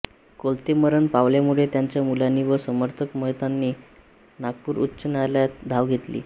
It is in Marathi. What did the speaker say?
कोलते मरण पावल्यामुळे त्यांच्या मुलांनी व समर्थक महंतांनी नागपूर उच्च न्यायालयात धाव घेतली